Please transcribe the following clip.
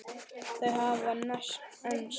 Þau hafa enst.